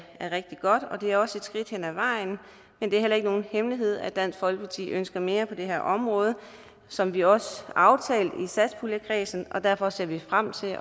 er rigtig godt og det er også et skridt hen ad vejen men det er ikke nogen hemmelighed at dansk folkeparti ønsker mere på det her område som vi også aftalte i satspuljekredsen og derfor ser vi frem til